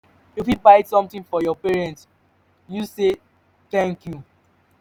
you fit buy something for your parents use say thank you